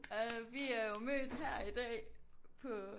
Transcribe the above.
Og vi er jo mødt her i dag på